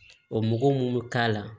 O mugu mun mi k'a la